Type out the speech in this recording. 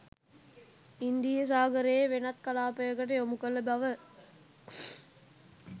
ඉන්දීය සාගරයේ වෙනත් කලාපයකට යොමු කළ බව